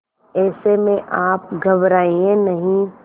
ऐसे में आप घबराएं नहीं